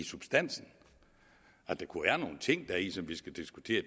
substansen at der kunne være nogle ting deri som vi skulle diskutere